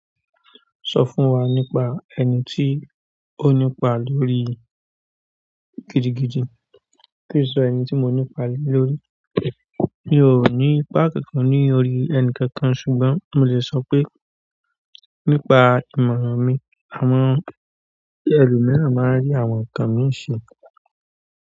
Sọ fún wa nípa ẹni tí o nípa lórí gidigidi. Kí sọ ẹni tí mo nípa le lórí? Mi ò ní ipá kankan ní orí ẹni kankan ṣùgbọ́n mo lè sọ pé nípa ìmọ̀ràn mi. Àwọn ẹlòmíràn máa rí àwọn nǹkan mi ṣe.